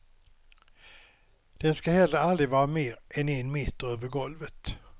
Den ska heller aldrig vara mer än en meter över golvet.